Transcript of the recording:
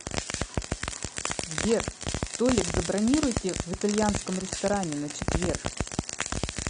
сбер столик забронируйте в итальянском ресторане на четверг